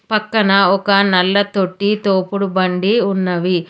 పక్కన ఒక నల్ల తొట్టి తోపుడు బండి ఉన్నవి.